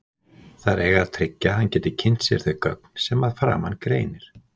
Þær eiga að tryggja að hann geti kynnt sér þau gögn sem að framan greinir.